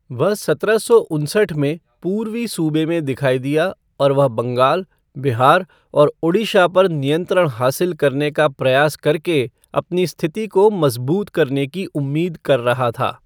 वह सत्रह सौ उनसठ में पूर्वी सूबा में दिखाई दिया और वह बंगाल, बिहार और ओडिशा पर नियंत्रण हासिल करने का प्रयास करके अपनी स्थिति को मजबूत करने की उम्मीद कर रहा था।